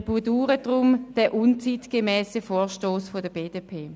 Wir bedauern daher den unzeitgemässen Vorstoss der BDP.